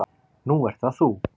Nú ert það þú.